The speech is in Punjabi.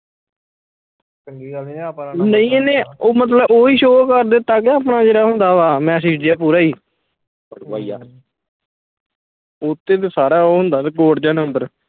ਨਹੀਂ ਇਹਨੇ ਓਹੀ ਮਤਲਬ ਓਹੀ show ਕਰ ਦਿੱਤਾ ਕੇ ਆਪਣਾ ਜਿਹੜਾ ਹੁੰਦਾ ਵਾ message ਜਾ ਪੂਰਾ ਈ ਓਤੇ ਤੇ ਸਾਰਾ ਉਹ ਹੁੰਦਾ code ਜਾ ਨੰਬਰ